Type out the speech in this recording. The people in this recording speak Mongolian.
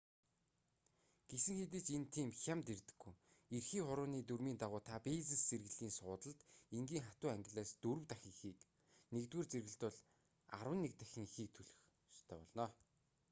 гэсэн хэдий ч энэ тийм хямд ирдэггүй эрхий хурууны дүрмийн дагуу та бизнес зэрэглэлийн суудалд энгийн хатуу ангиллаас дөрөв дахин ихийг нэгдүгээр зэрэглэлд бол арван нэг дахин ихийг төлөх ёстой болно